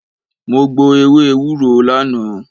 Mo gbo ewé ewúro lánàá.